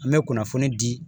An bɛ kunnafoni di